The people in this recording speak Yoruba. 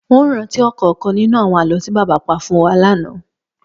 N ò rántí ò̩kò̩ò̩kan nínú àwo̩n àló̩ tí bàbá pa fún wa lánàá